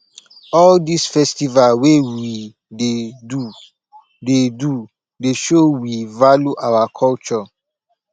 all dis festival wey we dey do dey do dey show we value our culture